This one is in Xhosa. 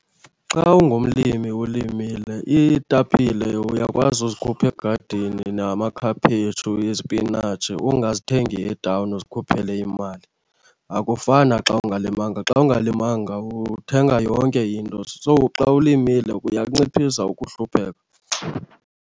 Xa ungumlimi ulimile iitapile uyakwazi uzikhupha egadini namakhaphetshu, izipinatshi ungazithengi etawuni uzikhuphele imali. Akufani naxa ungalimanga, xa ungalimanga uthenga yonke into. So xa ulimile uyakunciphisa ukuhlupheka.